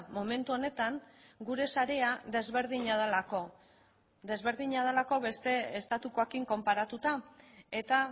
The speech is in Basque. momentu honetan gure sarea desberdina delako desberdina delako beste estatukoekin konparatuta eta